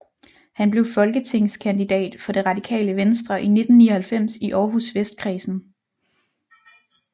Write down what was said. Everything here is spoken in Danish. Han blev folketingskandidat for det Radikale Venstre i 1999 i Århus Vestkredsen